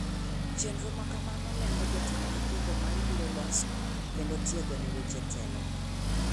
Chenro makamano lengo jotend nyithindo ma ibiro loso kendo tiego ne weche telo.